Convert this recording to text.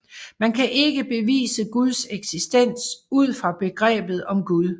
Man kan ikke bevise Guds eksistens ud fra begrebet om Gud